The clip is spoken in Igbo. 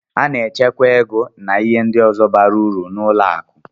A na-echekwa ego na ihe ndi ọzọ bara uru n'ime ụlọ akụ.